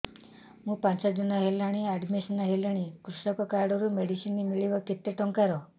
ମୁ ପାଞ୍ଚ ଦିନ ହେଲାଣି ଆଡ୍ମିଶନ ହେଲିଣି କୃଷକ କାର୍ଡ ରୁ ମେଡିସିନ ମିଳିବ କେତେ ଟଙ୍କାର